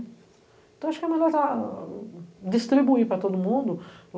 Então eu acho que é melhor dar distribuir para todo mundo.